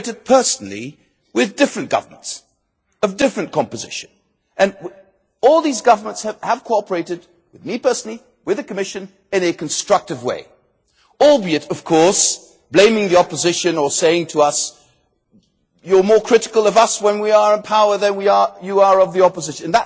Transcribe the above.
cooperated personally with various governments, of differing compositions, and all these governments have cooperated with me personally with the Commission in a constructive way, albeit, of course, blaming the opposition or saying to us that we are more critical of them when they are in power than we are of the opposition.